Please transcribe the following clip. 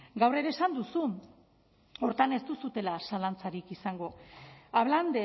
gaur ere esan duzu hortan ez duzuela zalantzarik izango hablan